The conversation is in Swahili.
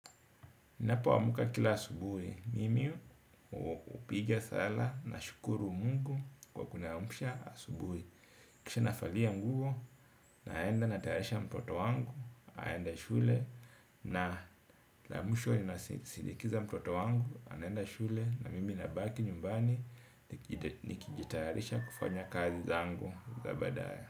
Ninapoamka kila asubuhi, mimi hupiga sala nashukuru mungu kwa kuniamsha asubuhi. Kisha navalia nguo, naenda natayarisha mtoto wangu aende shule, na la mwisho ninasindikiza mtoto wangu anaenda shule na mimi nabaki nyumbani nikijitayarisha kufanya kazi zangu za baadaye.